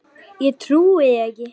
Ég trúi því ekki.